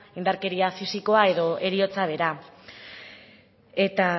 indarkeria fisikoa edo heriotza bera eta